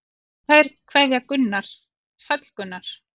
Kær kveðja Gunnar Sæll Gunnar.